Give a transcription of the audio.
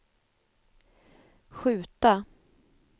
skjuta